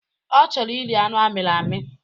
Ọ chọrọ iri anụ amịrị amị